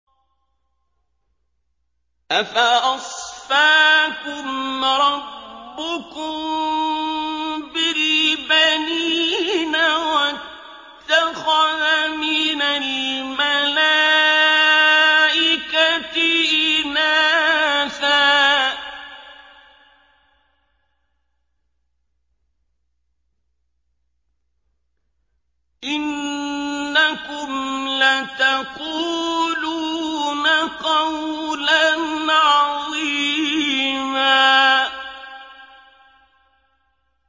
أَفَأَصْفَاكُمْ رَبُّكُم بِالْبَنِينَ وَاتَّخَذَ مِنَ الْمَلَائِكَةِ إِنَاثًا ۚ إِنَّكُمْ لَتَقُولُونَ قَوْلًا عَظِيمًا